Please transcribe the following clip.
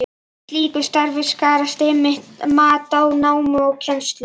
Í slíku starfi skarast einmitt mat á námi og kennslu.